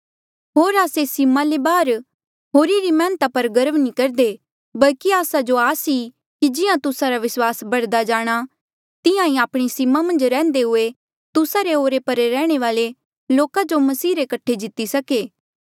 होर आस्से सीमा ले बाहर होरी री मैहनता पर गर्व नी करदे बल्की आस्सा जो आस ई कि जिहां तुस्सा रा विस्वास बढ़दा जाणा तिहां आपणी सीमा मन्झ रेह्न्दे हुये तुस्सा रे ओरे परे रैहणे वाले लोका जो मसीह रे कठे जीती सके